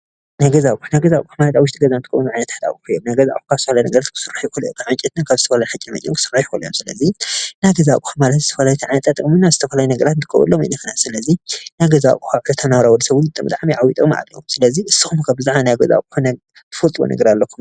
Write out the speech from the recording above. ናይ ገዛ ኣቁሑት ኣብ ውሽጢ ገዛ ዝቅመጡ እዩም። ካብ ዕንጨይትን ሓፂን መፂን ክስራሕ ይክእል እዩ ንስካትኩም ናይ ገዛ ኣቁሑት ንወዲሰብ ብጣዕሚ ጥቅሚ ኣለዎ ናይ ገዛ ኣቁሑት ትፈልጥዎ ነገር ኣለኩም ዶ?